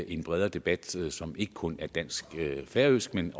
en bredere debat som ikke kun er dansk færøsk men